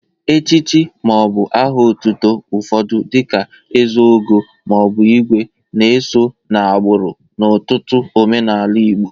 Echichi ma ọ bụ aha ọtụtụ ụfọdụ dị ka ezeogo ma ọ bụ igwe na-eso n'agbụrụ n'ọtụtụ omenaala Igbo.